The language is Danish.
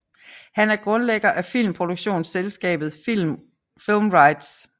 Han er grundlægger af filmproduktionsselskabet Film Rites